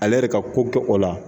Ale yɛrɛ ka ko te o la